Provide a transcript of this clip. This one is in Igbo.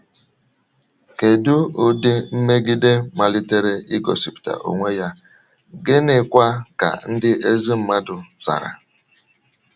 Kèdù ụdị mmègìdè malitèrè ìgòspụta onwe ya, gị́nị̀kwa ka ndị ezi mmàdù zàrà?